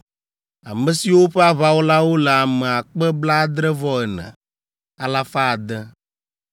ame siwo ƒe aʋawɔlawo le ame akpe blaadre-vɔ-ene, alafa ade (74,600).